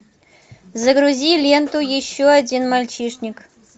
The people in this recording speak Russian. загрузи ленту еще один мальчишник